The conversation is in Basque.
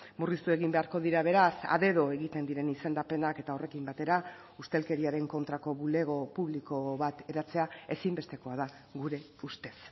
murriztu egin beharko dira beraz a dedo egiten diren izendapenak eta horrekin batera ustelkeriaren kontrako bulego publiko bat eratzea ezinbestekoa da gure ustez